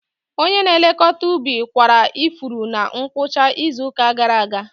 Onye na-elekọta ubi kwara ifuru na ngwụcha izu ụka gara aga.